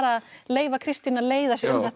leyfa Kristínu að leiða sig